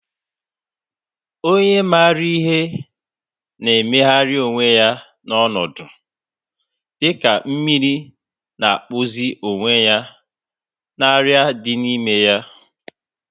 Onye maara ihe na-emegharị onwe ya n'ọnọdụ, dịka mmiri na-akpụzi onwe ya na arịa dị n'ime ya.